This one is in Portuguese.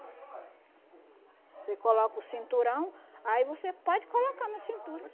Você coloca o cinturão, aí você pode colocar na cintura.